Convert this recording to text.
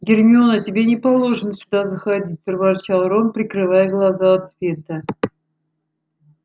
гермиона тебе не положено сюда заходить проворчал рон прикрывая глаза от света